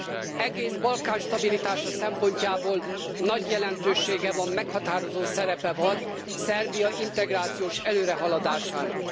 Az egész Balkán stabilitása szempontjából nagy jelentősége van, meghatározó szerepe van Szerbia integrációs előrehaladásának.